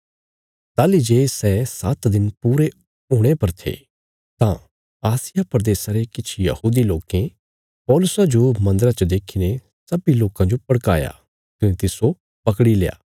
ताहली जे सै सात्त दिन पूरे हुणे पर थे तां आसिया प्रदेशा रे किछ यहूदी लोकें पौलुसा जो मन्दरा च देखीने सब्बीं लोकां जो भड़काया कने तिस्सो पकड़ील्या